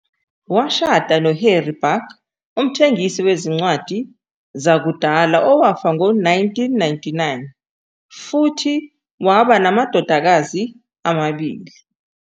Washada noHarry Busck, umthengisi wezincwadi zakudala owafa ngo-1999, futhi waba namadodakazi amabili.